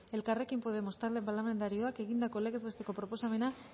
elkarrekin podemos talde parlamentarioak egindako legez besteko proposamena